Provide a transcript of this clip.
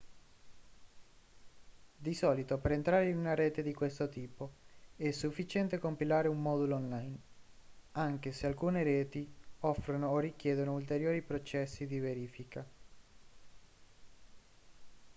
di solito per entrare in una rete di questo tipo è sufficiente compilare un modulo online anche se alcune reti offrono o richiedono ulteriori processi di verifica